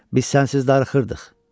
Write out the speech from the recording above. Biz sənsiz darıxırdıq.